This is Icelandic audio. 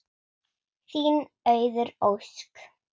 Þín Auður Ósk.